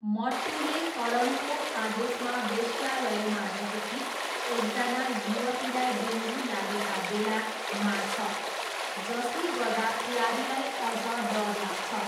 मट्टूले करणको आदेशमा वेश्यालयमा रहेकी एकजना युवतीलाई डेङ्गु लागेका बेला मार्छ, जसले गर्दा प्यारीलाई अझ डर लाग्छ।